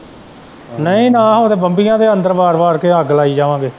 ਨਈ ਨਾ ਹੋਣ ਬੰਬਈਆਂ ਦੇ ਅੰਦਰ ਵਾੜ-ਵਾੜ ਕੇ ਅੱਗ ਲਾਈ ਜਾਵਾਂਗੇ।